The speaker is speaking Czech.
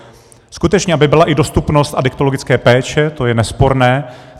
Skutečně, aby byla i dostupnost adiktologické péče, to je nesporné.